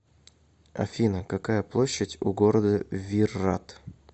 афина какая площадь у города виррат